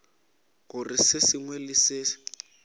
gore se sengwe le se